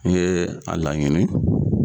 I yee a laɲini